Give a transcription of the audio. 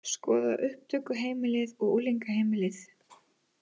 Skoða upptökuheimilið og unglingaheimilið